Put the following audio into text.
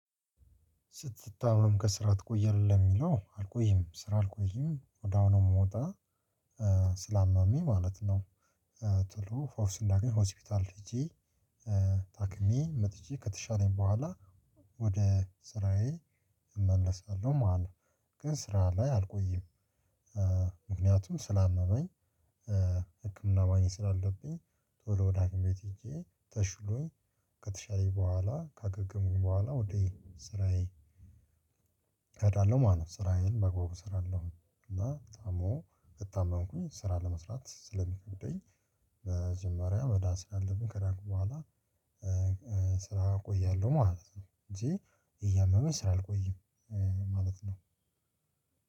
ስትታመም ከስራ ትቆያለህ የሚለው አልቆይም ስራ አልቆይም ወዲያው ነው የምወጣ ስ ስላመመኝ ማለት ነው። ቶሎ ፈውስ እንዳገኝ ሆስፒታል ሄጄ ታክሜ መጥቼ ከተሻለኝ በኋላ ወደ ስራዬ እመለሳለሁ ማለት ነው። ግን ስራ ላይ አልቆይም። ምክንያቱም ስላመመኝ ህክምና ማግኘት ስላለብኝ። ቶሎ ወደ ሐኪም ቤት ሄጄ ተሽሎኝ ከተሻለኝ በኋላ ከገገምኩ በኋላ ወደ ስራዬ እሄዳለሁ ማለት ነው። ስራዬን በአግባቡ እሰራለሁ እና ደሞ ከታመምኩኝ ስራ ለመስራት ስለ ምከብደኝ። መጀመሪያ መዳን ስላለብኝ ከዳንኩ ቦኃላ ስራ እቆያለሁ ማለት ነው። እንጂ እያመመኝ ስራ አልቆይም ማለት ነው።